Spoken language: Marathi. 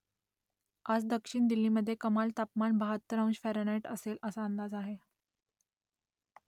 आज दक्षिण दिल्लीमधे कमाल तापमान बहात्तर अंश फॅरनहाईट असेल असा अंदाज आहे